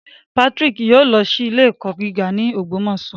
Patrick yoo lọ si ile-ẹkọ giga ni Ogbomoso